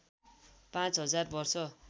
पाँच हजार वर्ष